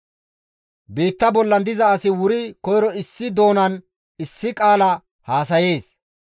Biitta bollan diza asi wuri koyro issi doonanne issi qaala haasayees.